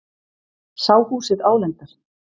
Sá húsið álengdar.